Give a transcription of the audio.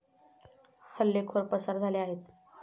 हल्लेखोर पसार झाले आहेत.